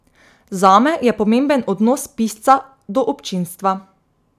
Zame je pomemben odnos pisca do občinstva.